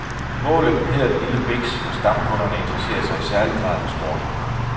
Målet hedder den lille biks, hvor stamkunderne interesserer sig i særlig grad for sport.